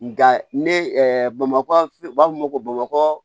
Nka ne bamakɔ u b'a fɔ ko bamakɔ